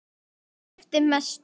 Þrennt skipti mestu.